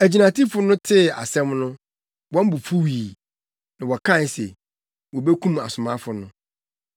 Agyinatufo no tee asɛm no, wɔn bo fuwii, na wɔkae se wobekum asomafo no.